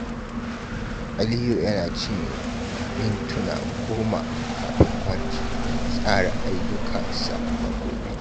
Aliyu yana cinye mintuna goma kafin barci don tsara ayyukansa na gobe.